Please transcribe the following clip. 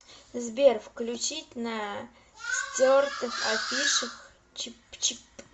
сбер включить на стертых афишах чипачип